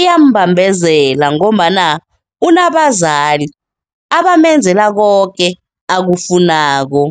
iyambambezela ngombana unabazali abamenzela koke akufunako.